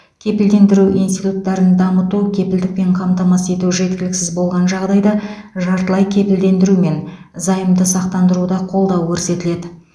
кепілдендіру институттарын дамыту кепілдікпен қамтамасыз ету жеткіліксіз болған жағдайда жартылай кепілдендіру мен займды сақтандыруда қолдау көрсетіледі